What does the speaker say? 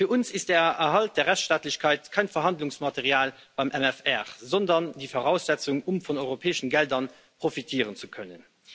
Für uns ist der Erhalt der Rechtsstaatlichkeit kein Verhandlungsmaterial beim MFR, sondern die Voraussetzung, um von europäischen Geldern profitieren zu können.